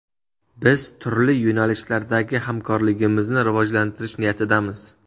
Biz turli yo‘nalishlardagi hamkorligimizni rivojlantirish niyatidamiz”.